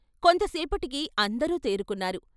కొంత సేపటికి అందరూ తేరుకున్నారు.